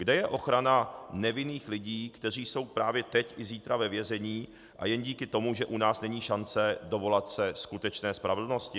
Kde je ochrana nevinných lidí, kteří jsou právě teď a zítra ve vězení, a jen díky tomu, že u nás není šance dovolat se skutečné spravedlnosti?